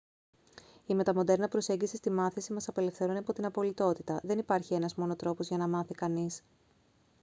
η μεταμοντέρνα προσέγγιση στη μάθηση μας απελευθερώνει από την απολυτότητα δεν υπάρχει ένας μόνο τρόπος για να μάθει κανείς